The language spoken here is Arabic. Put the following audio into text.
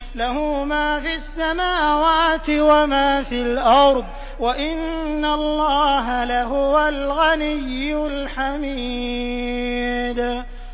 لَّهُ مَا فِي السَّمَاوَاتِ وَمَا فِي الْأَرْضِ ۗ وَإِنَّ اللَّهَ لَهُوَ الْغَنِيُّ الْحَمِيدُ